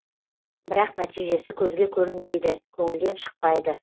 бірақ нәтижесі көзге көрінбейді көңілден шықпайды